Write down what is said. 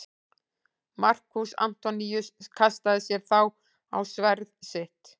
Markús Antoníus kastaði sér þá á sverð sitt.